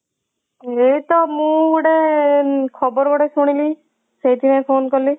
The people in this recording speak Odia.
ଏଇ ତ ମୁଁ ଗୋଟେ ଖବର ଗୋଟେ ଶୁଣିଲି ସେଇଥିପାଇଁ phone କଲି।